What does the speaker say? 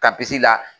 Kapisi la